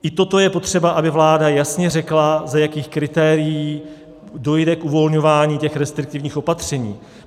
I toto je potřeba, aby vláda jasně řekla, za jakých kritérií dojde k uvolňování těch restriktivních opatření.